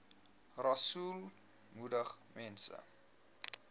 rasool moedig mense